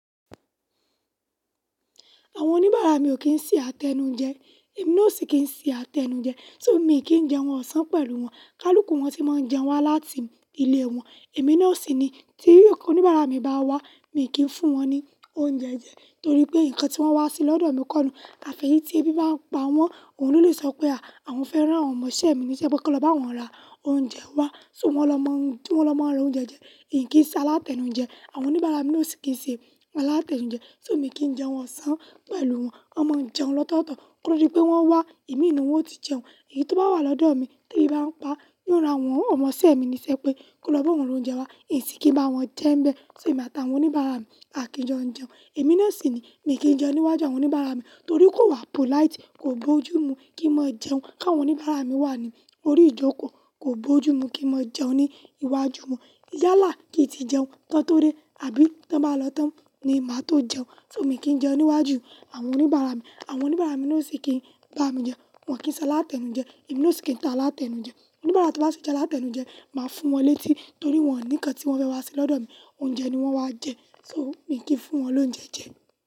Àwọn oníbàárà mi ò kí ń ṣe alátenujẹ, èmi ó sì kí ń ṣe alátenujẹ. So mi kì í jẹ wọ́n ọ̀sán pẹ̀lú wọn, kálùkù wọn tí máa ń jẹun wá láti ilé wọn. Èmi náà o sì ni tí oníbàárà mi bá wá, mi kì í fún wọn ní oúnjẹ jẹ torí pé nǹkan tí wọ́n wá ṣe lọ́dọ̀ mi kọ́ nù. Afi eyì tí ebi bá ń pa wọ́n, òun ló lè sọ pé a, àwọn fẹ́ rán àwọn ọmọ isẹ́ mi níṣẹ́ pé kí ó lọ bá wọn ra oúnjẹ wá. So wọ́n ló máa ń ra oúnjẹ jẹ, n kìí ṣe alátenujẹ. Àwọn oníbàárà mi náà o sì kí ń ṣe alátenujẹ. So mi kìí jẹun ọ̀sán pẹ̀lú wọn. Wọ́n máa ń jẹun lọ́tọ̀ọ̀tọ̀ torí pé wọ́n wá, imi inú wọn ó ti jẹun. Èyí tó bá wá lọ́dọ̀ mi tí ebi bá ń pa, yóò ra àwọn ọmọ isẹ́ mi níṣẹ́ pé, kó lọ bá òun ra oúnjẹ wá. Ì ṣìkí bá wọn jẹ́ ń bẹ, so èmi àtàwọn oníbàárà mi á kí jọ ń jẹun. Èmi náà sì ni mi kì n jẹun níwájú àwọn oníbàárà mi torí kò wà polite, kò bojú mu kí n máa jẹun káwọn oníbàárà mi wà ní orí ìjókòó, kò bojú mu kí n máa jẹun ní iwájú wọn. Yálà kì n ti jẹun kán tó dẹ àbí tọ́ bá lọ tán ni màá tó jẹun. So mi kì n jẹun níwájú àwọn oníbàárà mi. Àwọn oníbàárà mi náà ó sì kí ń bá mi jẹun, wọn kì n ṣe alátenujẹ, èmi náà ó sì kí ń ṣà alátenujẹ. Oníbàárà tí ọ́ bá ṣe alátenujẹ, màá fún wọn létí torí wọn ní nkán tí wọ́n fẹ́ wá ṣe lọ́dọ̀ mi, oúnjẹ ni wọ́n wá jẹ. So mi kì n fún wọn lóúnjẹ jẹ.